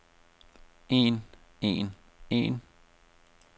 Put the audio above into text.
en en en